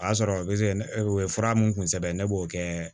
O y'a sɔrɔ ne o ye fura mun kun sɛbɛn ye ne b'o kɛ